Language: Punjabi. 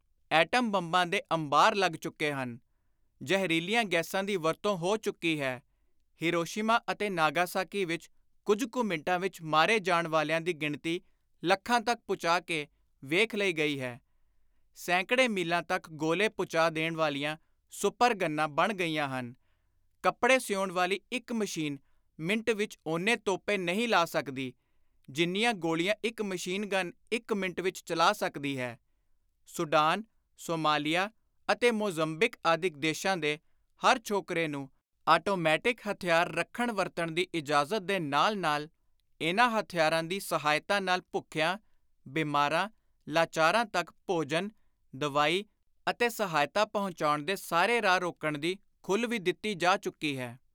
ਐਟਮ ਬੰਬਾਂ ਦੇ ਅੰਬਾਰ ਲੱਗ ਚੁੱਕੇ ਹਨ; ਜ਼ਹਿਰੀਲੀਆਂ ਗੈਸਾਂ ਦੀ ਵਰਤੋਂ ਹੋ ਚੁੱਕੀ ਹੈ; ਹੀਰੋਸ਼ੀਮਾ ਅਤੇ ਨਾਗਾਸਾਕੀ ਵਿੱਚ ਕੁਝ ਕੁ ਮਿੰਟਾਂ ਵਿਚ ਮਾਰੇ ਜਾਣ ਵਾਲਿਆਂ ਦੀ ਗਿਣਤੀ ਲੱਖਾਂ ਤਕ ਪੁਚਾ ਕੇ ਵੇਖ ਲਈ ਗਈ ਹੈ; ਸੈਂਕੜੇ ਮੀਲਾਂ ਤਕ ਗੋਲੇ ਪੁਚਾ ਦੇਣ ਵਾਲੀਆਂ ਸੁਪਰ ਗੰਨਾਂ (Super Guns) ਬਣ ਗਈਆਂ ਹਨ; ਕੱਪੜੇ ਸਿਉਣ ਵਾਲੀ ਇਕ ਮਸ਼ੀਨ ਮਿੰਟ ਵਿਚ ਓਨੇ ਤੋਪੇ ਨਹੀਂ ਲਾ ਸਕਦੀ, ਜਿੰਨੀਆਂ ਗੋਲੀਆਂ ਇਕ ਮਸ਼ੀਨ ਗੰਨ ਇਕ ਮਿੰਟ ਵਿਚ ਚਲਾ ਸਕਦੀ ਹੈ; ਸੁਡਾਨ, ਸੋਮਾਲੀਆ ਅਤੇ ਮੋਜ਼ਮਬੀਕ ਆਦਿਕ ਦੇਸ਼ਾਂ ਦੇ ਹਰ ਛੋਕਰੇ ਨੂੰ ਆਟੋਮੈਟਿਕ ਹਥਿਆਰ ਰੱਖਣ-ਵਰਤਣ ਦੀ ਇਜਾਜ਼ਤ ਦੇ ਨਾਲ ਨਾਲ ਇਨ੍ਹਾਂ ਹਥਿਆਰਾਂ ਦੀ ਸਹਾਇਤਾ ਨਾਲ ਭੁੱਖਿਆਂ, ਬੀਮਾਰਾਂ, ਲਾਚਾਰਾਂ ਤਕ ਭੌਜਨ, ਦਵਾਈ ਅਤੇ ਸਹਾਇਤਾ ਪੁਚਾਉਣ ਦੇ ਸਾਰੋ ਰਾਹ ਰੋਕਣ ਦੀ ਖੁੱਲ੍ਹ ਵੀ ਦਿੱਤੀ ਜਾ ਚੁੱਕੀ ਹੈ।